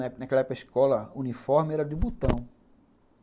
Naquela época, a escola uniforme era de botão.